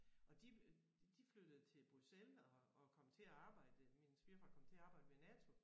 Og de øh de flyttede til Bruxelles og og kom til at arbejde øh min svigerfar kom til at arbejde ved NATO